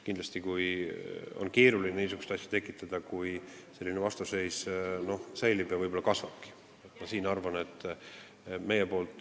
Kindlasti on keeruline niisugust asja tekitada, kui selline vastuseis säilib ja võib-olla kasvabki.